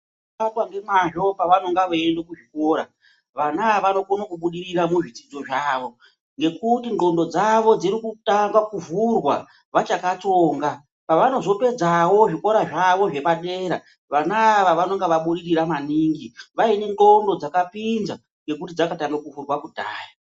Vanofamba ngemwazvo pavanonga veiende kuzvikora. Vana ava vanokone kubudirira muzvidzidzo zvavo ngekuti ndxondo dzavo dziri kutanga kuvhurwa vachakatsonga. Pavanozopedzawo zvikora zvavo zvepadera vana ava vanonga vabudirira maningi vaine ndxondo dzakapinza ngekuti dzakatanga kuvhurwa kudhaya.